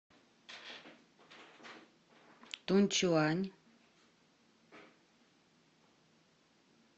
тунчуань